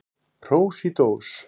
Hrós í dós.